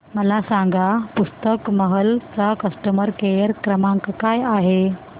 मला सांगा पुस्तक महल चा कस्टमर केअर क्रमांक काय आहे